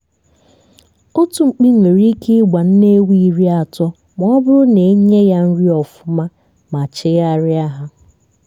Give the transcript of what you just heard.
otu mkpi nwere ike ịgba nne ewu iri atọ ma ọbụrụ na enye ya nri ọfụma ma chịgharịa hà